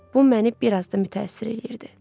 Bu məni bir az da mütəəssir eləyirdi.